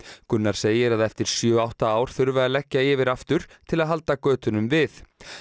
Gunnar segir að eftir sjö átta ár þurfi að leggja yfir aftur til að halda götunum við